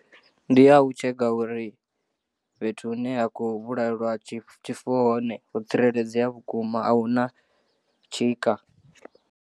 Ndiya u tsheka uri fhethu hune ha khou vhulaelwa tshifuwo hone ho tsireledzea vhukuma ahuna tshika.